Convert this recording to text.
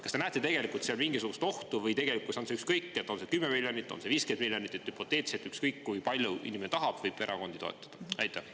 Kas te näete selles mingisugust ohtu või on ükskõik, kas see on 10 miljonit eurot, on see 50 miljonit eurot, ja hüpoteetiliselt võib inimene erakondi toetada ükskõik kui palju, nii palju, kui ta tahab?